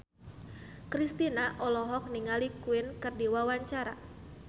Kristina olohok ningali Queen keur diwawancara